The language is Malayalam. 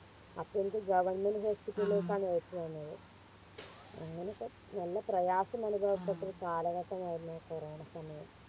അപ്പൊ എനിക്ക് Government hospital ലേക്കാണ് എഴുത്ത് തന്നത് അങ്ങനെ പ്പോ നല്ല പ്രയാസമുള്ള ഒരു കാലഘട്ടമായിരുന്നു കൊറോണ സമയം